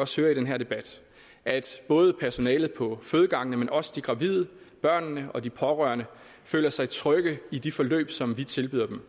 også høre i den her debat at personalet på fødegangene men også de gravide børnene og de pårørende føler sig trygge i de forløb som vi tilbyder dem